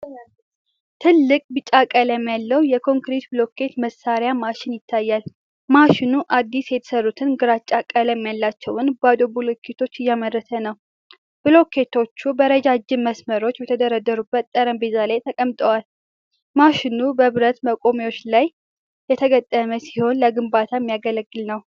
ትልቅ ቢጫ ቀለም ያለው የኮንክሪት ብሎኬት መሥሪያ ማሽን ይታያል። ማሽኑ አዲስ የተሠሩትን፣ ግራጫ ቀለም ያላቸውን ባዶ ብሎኬቶች እያመረተ ነው። ብሎኬቶቹ በረጃጅም መስመሮች በተደረደሩበት ጠረጴዛ ላይ ተቀምጠዋል። ማሽኑ በብረት መቆሚያዎች ላይ የተገጠመ ሲሆን ለግንባታ የሚያገለግል ነው።